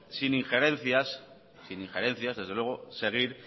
sin injerencias desde luego seguir